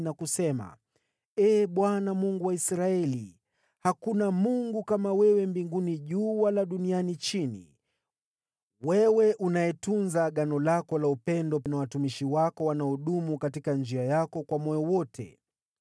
na kusema: “Ee Bwana , Mungu wa Israeli, hakuna Mungu kama wewe juu mbinguni wala chini duniani, wewe unayetunza Agano lako la upendo na watumishi wanaodumu katika njia yako kwa moyo wote.